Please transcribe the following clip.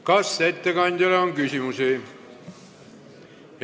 Kas ettekandjale on küsimusi?